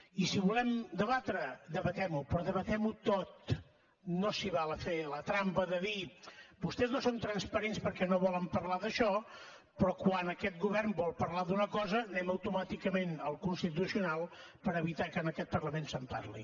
i si volem debatre debatem ho però debatem ho tot no s’hi val a fer la trampa de dir vostès no són transparents perquè no volen parlar d’això però quan aquest govern vol parlar d’una cosa anem automàticament al constitucional per evitar que en aquest parlament se’n parli